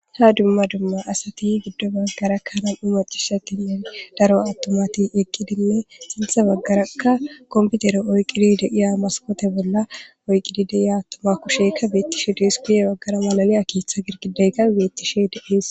ha dumma dumma asati giddo baggarakkanan umacisha giniyar daro attomati eqqidinne sintha baggarakka komputere oyqqidi deiya maskote bolla oyqidi deiya toma kushekka beettishe dispiye waggara malaliya keeththa girgideyka beettishe deees